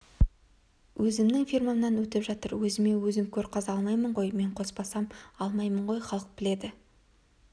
өзімнің фирмамнан өтіп жатыр өзіме өзім көр қаза алмаймын ғой мен қоспасам алмаймын ғой халық біледі